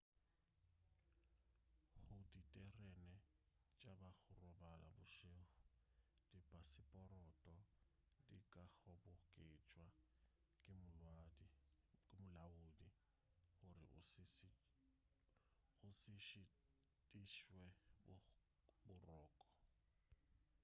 go diterene tša ba go robala bošego dipaseporoto di ka kgoboketšwa ke molaodi gore o se šitišwe boroko